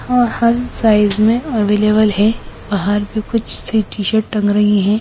हर size में available है बाहर भी कुछ सी टी-शर्ट टंग रही है।